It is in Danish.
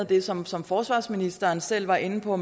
det som som forsvarsministeren selv var inde på